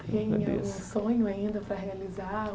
Tem algum sonho ainda para realizar?